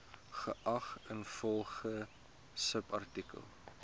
geag ingevolge subartikel